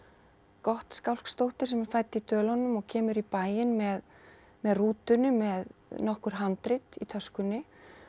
Gottskálksdóttir sem er fædd í Dölunum og kemur í bæinn með með rútunni með nokkur handrit í töskunni